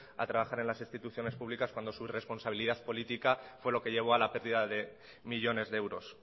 a trabajar en las instituciones públicas cuando sus responsabilidad política fue lo que llevo a la pérdida de millónes de euros